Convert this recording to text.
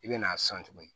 I bɛ n'a san tuguni